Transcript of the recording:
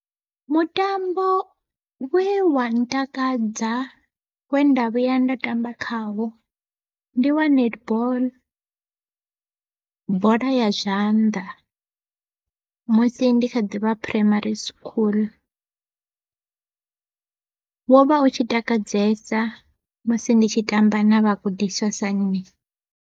Mutambo we wa ntakadza wenda vhuya nda tamba khawo ndi wa netball, bola ya zwanḓa musi ndi kha ḓi vha phuraimari school wo vha u tshi ntakadzesa musi ndi tshi tamba na vhagudiswa sa nṋe.